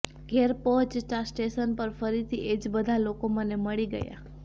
ઘેર પહોંચતાં સ્ટેશન પર ફરીથી એ જ બધા લોકો મને મળી ગયા